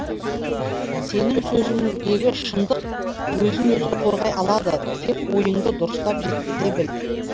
сенің сөзіңдегі шындық өзін өзі қорғай алады тек ойыңды дұрыстап жеткізе біл